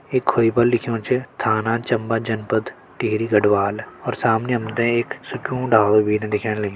इ खोई पर लिख्युं च थाना चम्बा जनपद टिहरी गढ़वाल और सामने हमतें एक सुख्यूं डालू भीन दिखेण लग्युं।